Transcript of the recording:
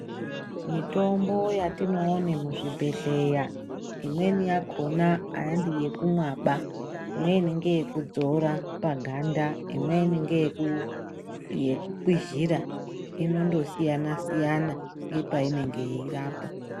Mitombo yatinoone muzvibhedhlera, imweni yakhona handiyekumwaba. Imweni ngeyekudzora paganda, imweni ngeyekukwizhira inondosiyana-siyana nepainenge yeirapa.